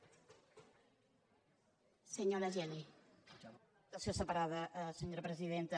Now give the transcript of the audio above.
per votació separada senyora presidenta